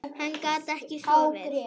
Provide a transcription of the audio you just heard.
Hann gat ekki sofið.